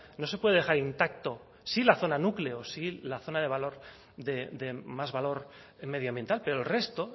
no se puede dejar intacto sí la zona núcleo si la zona de valor de más valor medio ambiental pero el resto